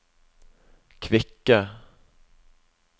kvikke